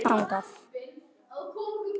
Nú, hefurðu farið þangað?